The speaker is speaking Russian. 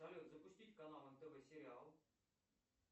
салют запустить канал нтв сериал